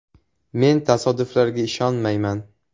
Men tasodiflarga ishonmayman.